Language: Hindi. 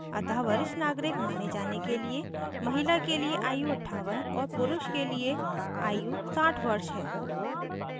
अतः वरिष्ठ नागरिक माने जाने के लिए महिला के लिए आयु 58 और पुरुष के लिए आयु 60 वर्ष है